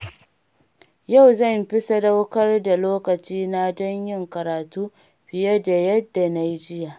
Yau zan fi sadaukar da lokacina don yin karatu fiye da yadda na yi jiya.